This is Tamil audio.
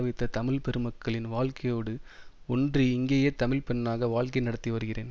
வைத்த தமிழ் பெருமக்களின் வாழ்க்கையோடு ஒன்றி இங்கேயே தமிழ் பெண்ணாக வாழ்க்கை நடத்தி வருகிறேன்